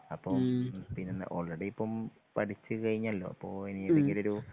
അപ്പൊ പിന്നെന്ന ഓൾറെഡി ഇപ്പൊ പഠിച്ചു കഴിഞ്ഞല്ലോ അപ്പൊ ഇനി എന്തെങ്കിലുമൊരു